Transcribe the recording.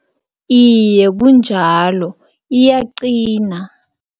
Iye, kunjalo, iyaqina.